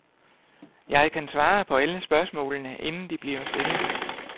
Jeg kan svare på alle spørgsmålene, inden de bliver stillet.